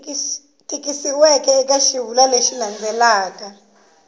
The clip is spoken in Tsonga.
tikisiweke eka xivulwa lexi landzelaka